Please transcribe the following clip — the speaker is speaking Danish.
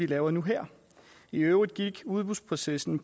laves nu her i øvrigt gik udbudsprocessen